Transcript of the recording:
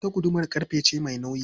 Ita guduma ƙarfe ce mai nauyi.